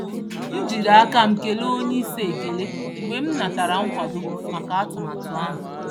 M jiri aka m kelee onyeisi ekele mgbe m natara nkwado maka atụmatụ ahụ.